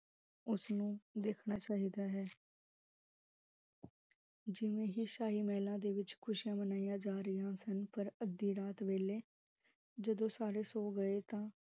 ਓਸਨੂ ਦੇਖਣਾ ਚਾਹਿਦਾ ਹੈ ਜਿਵੇਂ ਹੀ ਸ਼ਾਹੀ ਮਹਿਲਾ ਦੇ ਵਿਚ, ਖੁਸ਼ੀਆਂ ਮਨਾਈਆਂ ਜਾ ਰਹੀਆਂ ਸਨ, ਪਰ ਅੱਦੀ ਰਾਤ ਵੇਲੇ ਜਦੋ ਸਾਰੇ ਸੋ ਗਏ ਤਾਂ